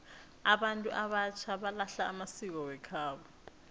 abantu abatjha balahla amasiko wekhabo